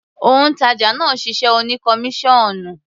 Òǹtàjà náà ṣiṣẹ́ oní kọmíṣọ́ọ̀nù.